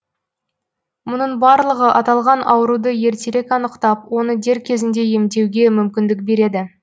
мұның барлығы аталған ауруды ертерек анықтап оны дер кезінде емдеуге мүмкіндік береді